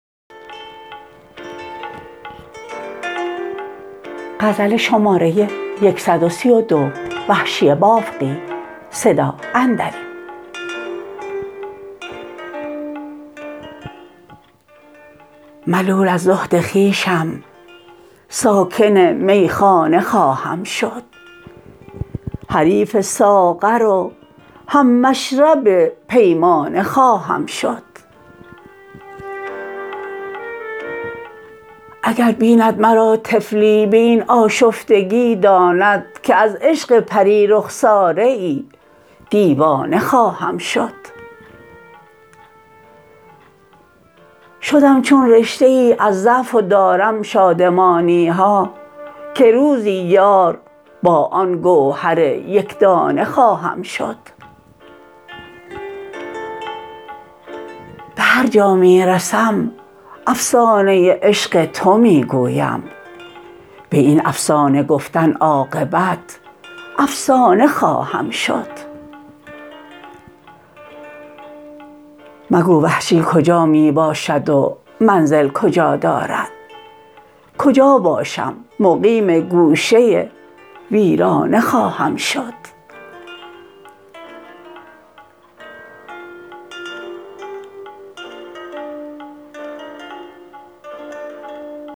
ملول از زهد خویشم ساکن میخانه خواهم شد حریف ساغر و هم مشرب پیمانه خواهم شد اگر بیند مرا طفلی به این آشفتگی داند که از عشق پری رخساره ای دیوانه خواهم شد شدم چون رشته ای از ضعف و دارم شادمانیها که روزی یار با آن گوهر یکدانه خواهم شد به هر جا می رسم افسانه عشق تو می گویم به این افسانه گفتن عاقبت افسانه خواهم شد مگو وحشی کجا می باشد و منزل کجا دارد کجا باشم مقیم گوشه ویرانه خواهم شد